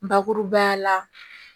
Bakurubaya la